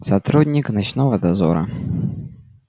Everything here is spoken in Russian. сотрудник ночного дозора